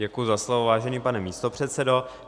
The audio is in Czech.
Děkuji za slovo, vážený pane místopředsedo.